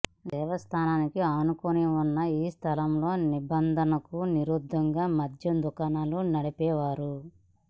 దేవస్థానానికి ఆనుకుని ఉన్న ఈ స్థలంలో నిబంధనలకు విరుద్ధంగా మద్యం దుకాణం నడిపేవారు